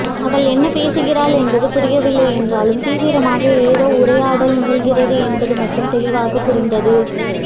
அவள் என்ன பேசுகிறாள் என்பது புரியவில்லை என்றாலும் தீவிரமாக ஏதோ உரையாடல் நிகழ்கிறது என்பது மட்டும் தெளிவாகப் புரிந்தது